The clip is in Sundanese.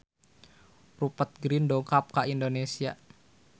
Rupert Grin dongkap ka Indonesia